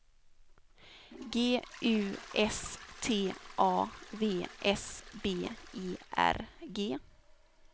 G U S T A V S B E R G